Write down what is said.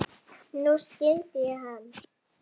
Nú skildi ég hann.